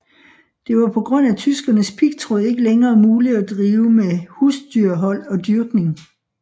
Det var på grund af tyskernes pigtråd ikke længere muligt at drive med husdyrhold og dyrkning